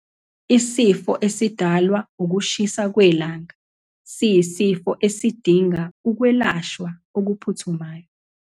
Isifo esidalwa ukushisa kwelanga siyisifo esidinga ukwelashwa okuphuthumayo.